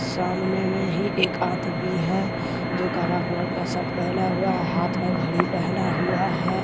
सामने में ही एक आदमी है जो काला कलर का शर्ट पहना हुआ हैहाथ में घड़ी पहना हुआ है।